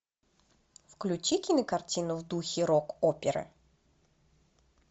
включи кинокартину в духе рок оперы